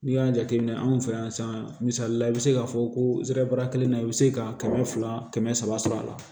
N'i y'a jateminɛ anw fɛ yan san misaliya la i bɛ se k'a fɔ ko zɛrɛ kelen na i bɛ se ka kɛmɛ fila kɛmɛ saba sɔrɔ a la